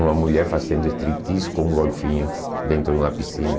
Uma mulher fazendo striptease com um golfinho dentro de uma piscina.